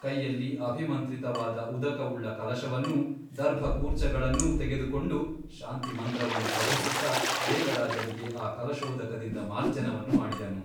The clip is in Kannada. ಕೈಯಲ್ಲಿ ಅಭಿಮಂತ್ರಿತವಾದ ಉದಕವುಳ್ಳ ಕಲಶವನ್ನೂ ದರ್ಭಕೂರ್ಚಗಳನ್ನೂ ತೆಗೆದುಕೊಂಡು ಶಾಂತಿಮಂತ್ರವನ್ನು ಪಠಿಸುತ್ತಾ ದೇವರಾಜನಿಗೆ ಆ ಕಲಶೋದಕದಿಂದ ಮಾರ್ಜನವನ್ನು ಮಾಡಿದನು.